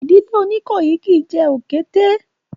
Ìdílé Oníkòyí kìí jẹ òkété